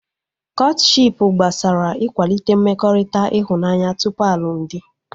Kọtshipu gbasara ikwalite mmekọrịta ịhụnanya tupu alụmdi